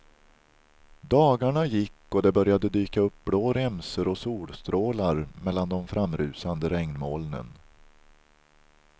Dagarna gick och det började dyka upp blå remsor och solstrålar mellan de framrusande regnmolnen.